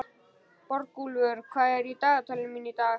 Borgúlfur, hvað er í dagatalinu mínu í dag?